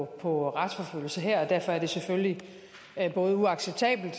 på retsforfølgelse her og derfor er det selvfølgelig både uacceptabelt